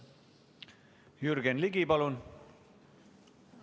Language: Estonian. Jürgen Ligi, palun!